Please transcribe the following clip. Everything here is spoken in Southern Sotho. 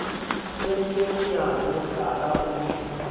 kentswe bonyane mohlala o le